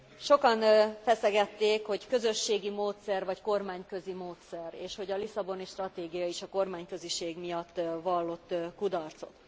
Sokan feszegették, hogy közösségi módszer vagy kormányközi módszer, és hogy a Lisszaboni Stratégia is a kormányköziség miatt vallott kudarcot.